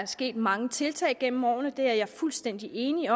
sket mange tiltag gennem årene og det er jeg fuldstændig enig i